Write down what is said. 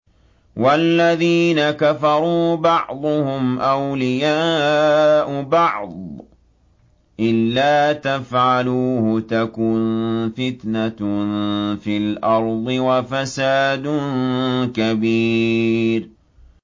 وَالَّذِينَ كَفَرُوا بَعْضُهُمْ أَوْلِيَاءُ بَعْضٍ ۚ إِلَّا تَفْعَلُوهُ تَكُن فِتْنَةٌ فِي الْأَرْضِ وَفَسَادٌ كَبِيرٌ